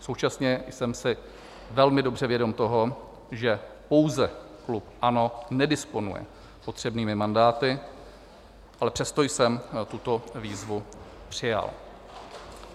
Současně jsem si velmi dobře vědom toho, že pouze klub ANO nedisponuje potřebnými mandáty, ale přesto jsem tuto výzvu přijal.